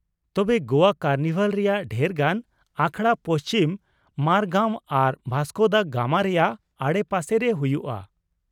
ᱛᱚᱵᱮ ᱜᱚᱣᱟ ᱠᱟᱨᱱᱤᱵᱷᱟᱞ ᱨᱮᱭᱟᱜ ᱰᱷᱮᱨ ᱜᱟᱱ ᱟᱠᱷᱲᱟ ᱯᱟᱧᱡᱤᱢ, ᱢᱟᱨᱜᱟᱣ ᱟᱨ ᱵᱷᱟᱥᱠᱳ ᱫᱟ ᱜᱟᱢᱟ ᱨᱮᱭᱟᱜ ᱟᱰᱮᱯᱟᱥᱮ ᱨᱮ ᱦᱩᱭᱩᱜᱼᱟ ᱾